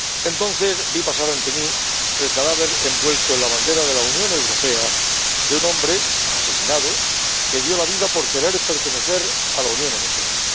Entonces vi pasar ante mí el cadáver envuelto en la bandera de la Unión Europea de un hombre, asesinado, que dio la vida por querer pertenecer a la Unión Europea.